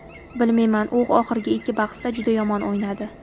Bilmayman, u oxirgi ikki bahsda juda yomon o‘ynadi.